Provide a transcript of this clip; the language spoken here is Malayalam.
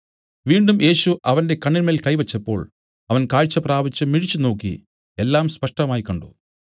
വീണ്ടും യേശു അവന്റെ കണ്ണിന്മേൽ കൈ വെച്ചപ്പോൾ അവൻ കാഴ്ച പ്രാപിച്ചു മിഴിച്ചുനോക്കി എല്ലാം സ്പഷ്ടമായി കണ്ട്